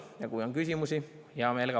Ja kui on küsimusi, vastan heameelega.